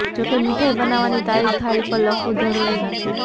જો કે મીઠાઈ બનાવવાની તારીખ થાળી પર લખવું જરૂરી નથી